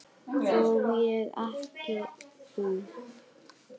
Ég og ekki þú.